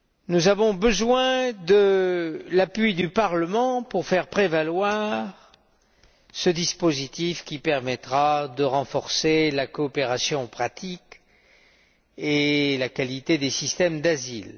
Nous avons besoin de l'appui du Parlement pour faire prévaloir ce dispositif qui permettra de renforcer la coopération pratique et la qualité des systèmes d'asile.